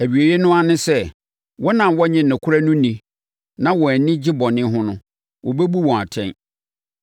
Awieeɛ no ara ne sɛ, wɔn a wɔnnye nokorɛ no nni na wɔn ani gye bɔne ho no, wɔbɛbu wɔn atɛn.